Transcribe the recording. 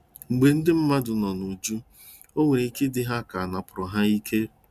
Mgbe ndị mmadụ nọ nụjọ, o nwere ike ịdị ha ka anapụrụ ha ike.